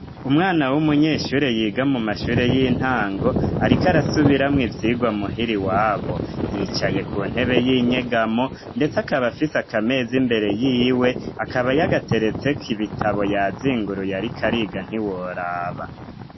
Umwana w'umunyeshure yiga mu mashure y'intango, ariko arasubiramwo ivyigwa muhiri wabo yicaye ku ntebe y'inyegamo, ndetse akabafise akamezi imbere yiwe akaba yagateretseko ibitabo ya zinguru yariko ariga ntiworaba.